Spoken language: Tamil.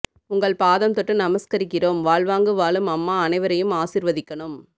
உங்கள் பாதம் தொட்டு நமஸ்கரிக்கிறோம் வாழ்வாங்கு வாழும் அம்மா அனைவரையும் ஆசிர்வதிக்கணும்